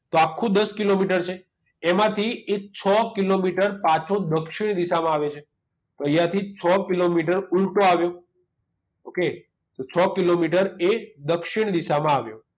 તો આખું દસ કિલોમીટર છે એમાંથી એ છ કિલોમીટર પાછો દક્ષિણ દિશામાં આવે છે તો અહીંયાથી છ કિલોમીટર ઊલટો આવ્યો okay તો છ કિલોમીટર એ દક્ષિણ દિશામાં આવ્યો